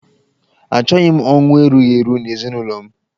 Achọghị m ọnwụ erughi eru n'ezinụlọ m.